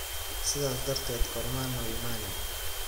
Sidhas darteed korma noyimani.